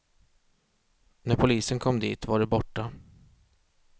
När polisen kom dit var de borta.